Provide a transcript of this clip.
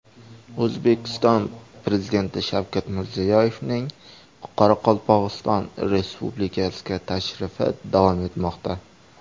O‘zbekiston Prezidenti Shavkat Mirziyoyevning Qoraqalpog‘iston Respublikasiga tashrifi davom etmoqda.